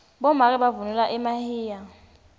bomake bavunula emahiya